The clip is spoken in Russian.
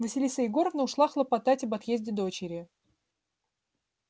василиса егоровна ушла хлопотать об отъезде дочери